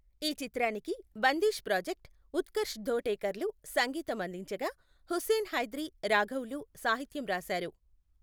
ఈ చిత్రానికి బందీష్ ప్రాజెక్ట్, ఉత్కర్ష్ ధోటేకర్లు సంగీతం అందించగా, హుస్సేన్ హైద్రీ, రాఘవ్లు సాహిత్యం రాశారు.